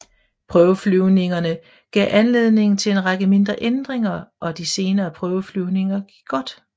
Prøveflyvningarne gav anledning til en række mindre ændringer og de senere prøveflyvninger gik godt